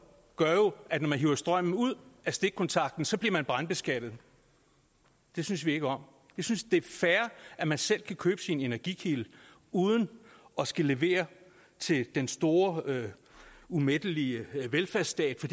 gør jo at når man hiver strømmen ud af stikkontakten så bliver man brandbeskattet det synes vi ikke om vi synes det er fair at man selv kan købe sin energikilde uden at skulle levere til den store umættelige velfærdsstat for